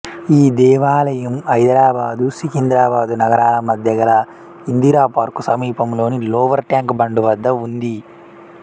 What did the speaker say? ఈ దేవాలయం హైదరాబాదు సికింద్రాబాదు నగరాల మధ్య గల ఇందిరాపార్కు సమీపంలోని లోవర్ ట్యాంక్ బండ్ వద్ద ఉంది